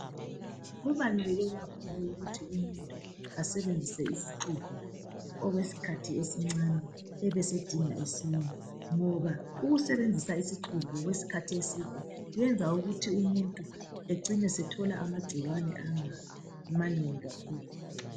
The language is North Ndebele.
Kubaluleke kakhulu ukuba umuhtu asebenzise isixubho okwesikhathi esincane. Abe esedinga esinye, ngoba ukusebenzisa isixubho, okwesikhathi eside, kwenza ukuthi umuntu acine esethola amagcikwane, amanengi kakhulu.